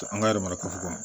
An ka mara kafo kɔnɔ